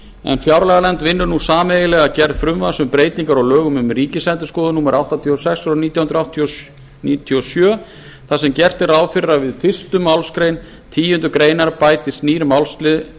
en fjárlaganefnd vinnur nú sameiginlega að gerð frumvarps um breytingar á lögum um ríkisendurskoðun númer áttatíu og sex nítján hundruð níutíu og sjö þar sem gert er ráð fyrir að við fyrstu málsgreinar tíundu grein bætist nýr málsliður